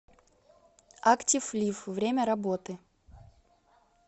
актив лиф время работы